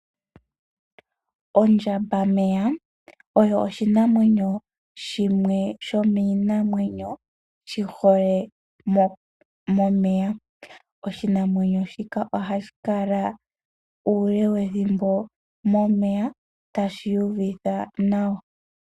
Ondjambameya oyo oshinamwenyo shimwe shomiinamwenyo mbyoka yihole momeya. Oshinamwenyo shika ohashi kala uule wethimbo momeya tashi uvitha nawa